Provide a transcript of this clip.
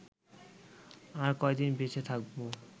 আর কয়দিন বেঁচে থাকব